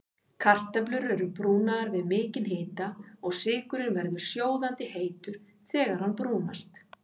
Kartöflur eru brúnaðar við mikinn hita og sykurinn verður sjóðandi heitur þegar hann brúnast.